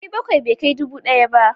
Ɗari nakwai bai kai dubu ɗaya ba.